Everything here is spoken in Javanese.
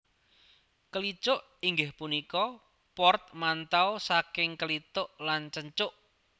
Kelicuk inggih punika portmanteau saking kelituk lan cencuk